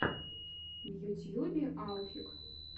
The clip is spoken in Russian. в ютьюбе алфик